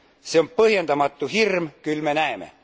See on põhjendamatu hirm, küll me näeme.